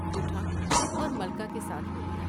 اٹھا اور ملکہ کے ساتھ ہولیا ۔